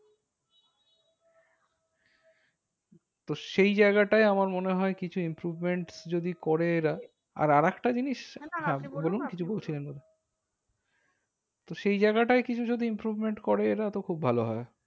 তো সেই জায়গাটায় আমার মনে হয় কিছু improvement যদি করে এরা আর আর একটা জিনিস তো সেই জায়গাটায় কিছু যদি improvement করে এরা তো খুব ভালো হয়।